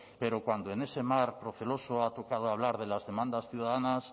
pero cuando en ese mar proceloso ha tocado hablar de las demandas ciudadanas